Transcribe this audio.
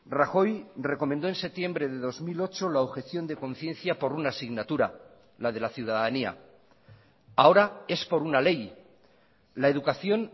rajoy recomendó en septiembre de dos mil ocho la objeción de conciencia por una asignatura la de la ciudadanía ahora es por una ley la educación